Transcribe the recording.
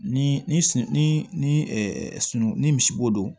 Ni ni ni sun ni ni ni sun ni misibo don